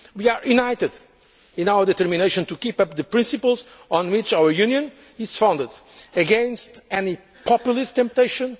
our efforts. We are united in our determination to uphold the principles on which our Union is founded, against any populist